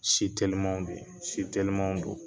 Si telimanw de ye, si telimanw don